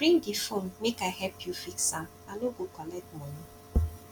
bring di fone make i help you fix am i no go collect moni